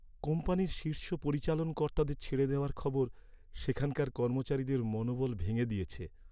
কোম্পানির শীর্ষ পরিচালন কর্তাদের ছেড়ে দেওয়ার খবর সেখানকার কর্মচারীদের মনোবল ভেঙে দিয়েছে।